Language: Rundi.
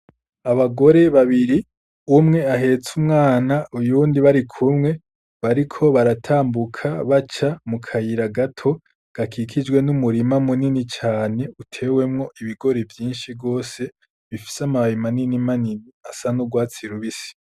Abagore babiri umwe ahetse umwana uyundi bari kumwe bariko baratambuka baca mu kayira gato gakikijwe n’umurima munini cane utewemo ibigori vyinshi gose bifise amababi manini manini asa n'urwatsi rubisi.